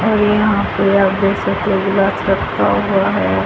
और यहाँ पे आप देख सकते हो ग्लास रखा हुआ हैं।